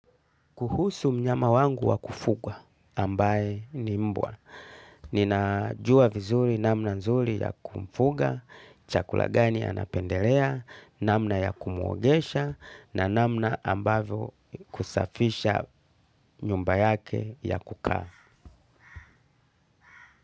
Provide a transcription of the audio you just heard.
Kuhusu mnyama wangu wa kufugwa ambaye ni mbwa. Ninajua vizuri namna nzuri ya kumfuga, chakula gani anapendelea, namna ya kumuogesha na namna ambayo kusafisha nyumba yake ya kukaa.